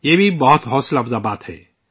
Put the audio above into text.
یہ بھی بہت حوصلہ افزا ہے